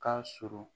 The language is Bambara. Ka surun